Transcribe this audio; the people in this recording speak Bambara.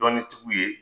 Dɔnni tigiw ye